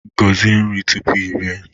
Gọzie nri tupu i rie!